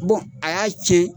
Bon a y'a cɛn,